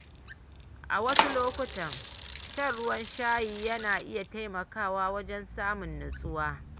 A wasu lokuta, shan ruwan shayi yana iya taimakawa wajen samun nutsuwa.